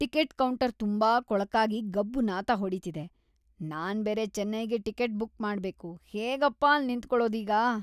Ticket counter ತುಂಬಾ ಕೊಳಕಾಗಿ ಗಬ್ಬು ನಾತ ಹೊಡೀತಿದೆ. ನಾನ್ಬೇರೆ ಚೆನ್ನೈಗೆ ಟಿಕೆಟ್ ಬುಕ್‌ ಮಾಡ್ಬೇಕು, ಹೇಗಪ್ಪಾ ಅಲ್ಲ್ ನಿಂತ್ಕೊಳೋದೀಗ?